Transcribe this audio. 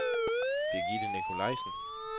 Birgitte Nikolajsen